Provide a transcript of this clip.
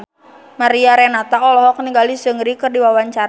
Mariana Renata olohok ningali Seungri keur diwawancara